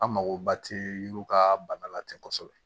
An magoba tɛ yiriw ka bana la ten kosɛbɛ